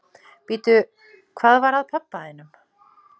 Bíddu, hvað var að pabba þínum?